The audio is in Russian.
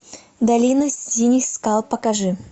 долина синих скал покажи